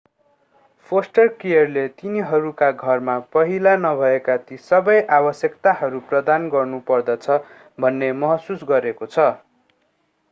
poster केयरले तिनीहरूका घरमा पहिला नभएका ती सबै आवश्यकताहरू प्रदान गर्नु पर्दछ भन्ने महसुस गरिएको छ